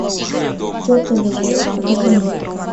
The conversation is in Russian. к черту любовь покажи мне